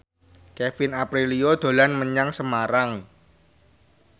Kevin Aprilio dolan menyang Semarang